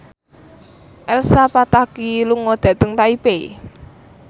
Elsa Pataky lunga dhateng Taipei